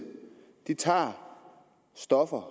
tager stoffer